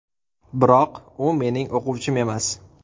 Biroq u mening o‘quvchim emas.